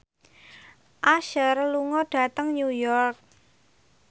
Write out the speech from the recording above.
Usher lunga dhateng New York